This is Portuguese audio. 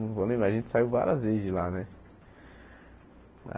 Não vou lembrar, a gente saiu várias vezes de lá, né?